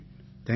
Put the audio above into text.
thank you